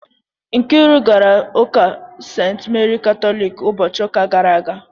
Nkiru gara Ụka ​​St. Meri Katolik ụbọchị ụka gara aga